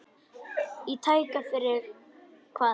Í tæka tíð fyrir hvað?